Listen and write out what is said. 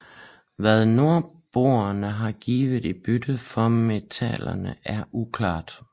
Hvad nordboerne har givet i bytte for metallerne er uklart